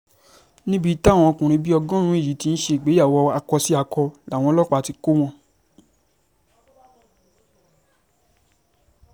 níbi táwọn ọmọkùnrin bíi ọgọ́rùn-ún yìí ti ń ṣègbéyàwó akó-sí-akọ làwọn ọlọ́pàá ti kọ́ wọn